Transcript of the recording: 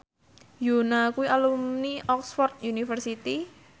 Yoona kuwi alumni Oxford university